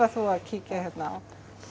þú að kíkja hérna á